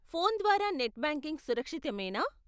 Phone ద్వారా net banking సురక్షితమేనా?